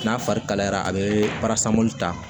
N'a fari kalayara a be barasan ta